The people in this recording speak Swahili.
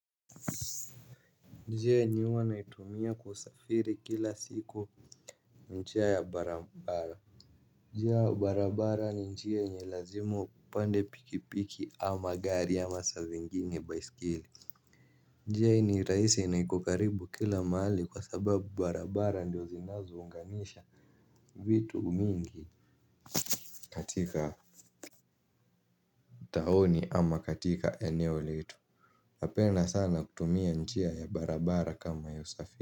Njia yenye huwa naitumia kusafiri kila siku njia ya barabara. Njia ya barabara ni njia yenye lazima upande pikipiki ama gari ama saa zingine baisikeli. Njia hii ni raisi na iko karibu kila mahali kwa sababu barabara ndio zinazounganisha vitu mingi katika tauni ama katika eneo letu napenda sana kutumia njia ya barabara kama ya usafiri.